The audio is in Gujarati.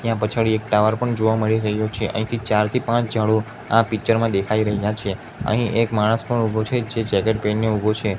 ત્યાં પછાડી એક ટાવર પણ જોવા મળી રહ્યો છે અહીંથી ચાર થી પાંચ ઝાડો આ પિક્ચર માં દેખાય રહ્યા છે અહીં એક માણસ પણ ઉભો છે જે જેકેટ પેરીને ઉભો છે.